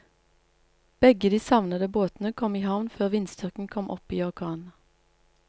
Begge de savnede båtene kom i havn før vindstyrken kom opp i orkan.